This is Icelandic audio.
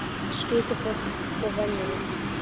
Skrýtið fólk og venjulegt.